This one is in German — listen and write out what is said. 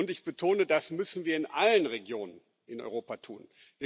Ich betone Das müssen wir in allen Regionen in Europa tun.